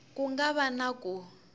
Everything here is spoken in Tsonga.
ku nga va na ku